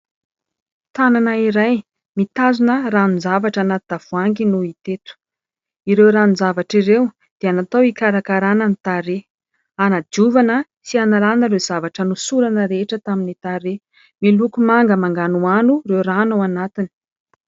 Tanana iray mitazona ranon-javatra anaty tavoahangy no hita eto. Ireo ranon-javatra ireo dia natao hikarakarana ny tarehy, anadiovana sy analana ireo zavatra nosorana rehetra tamin'ny tarehy. Miloko manga manganohano ireo rano ao anatiny.